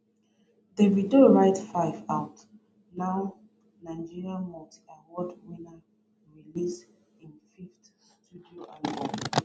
davide write 5ive out now nigerian multi awards winner release im fifth studio album